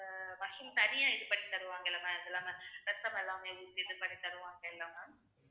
mushroom தனியா இது பண்ணி தருவாங்கல்ல ma'am அது இல்லாம bread crumbs எல்லாம் ஊத்தி இது பண்ணி தருவாங்கல்ல ma'am